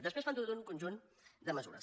després fan tot un conjunt de mesures